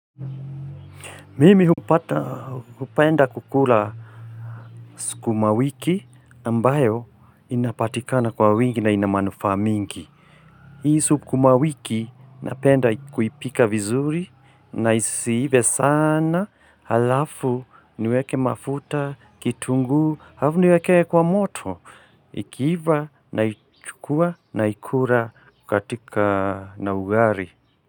Mimi hupenda kukula sukuma wiki ambayo inapatikana kwa wingi na ina manufaa mingi. Hii sukumawiki napenda kuipika vizuri, na isiive sana, halafu niweke mafuta, kitunguu, alafu niiwekee kwa moto, ikiiva naichukua na ikula katika na ugali.